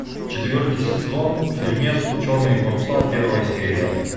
четвертый сезон фильмец черные паруса первая серия